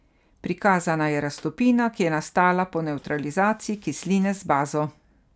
Prikazana je raztopina, ki je nastala po nevtralizaciji kisline z bazo.